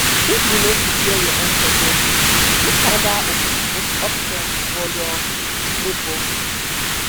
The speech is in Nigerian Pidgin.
if you no fit share your own suggest another option for your neighbor